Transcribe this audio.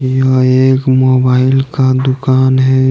यह एक मोबाइल का दुकान है।